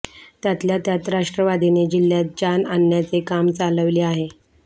त्यातल्या त्यात राष्ट्रवादीने जिल्ह्यात जान आणण्याचे काम चालविले आहे